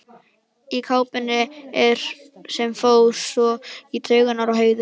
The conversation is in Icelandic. Í kápunni sem fór svo í taugarnar á Heiðu.